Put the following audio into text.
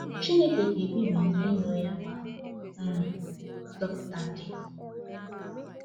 Chineke ga-ebibi ndị iro ya ma um zọpụta ndị ya.